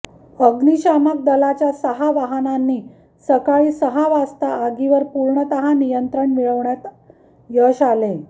अग्निशामक दलाच्या सहा वाहनांनी सकाळी सहा वाजता आगीवर पूर्णतः नियंत्रण मिळवण्यात यात यश आले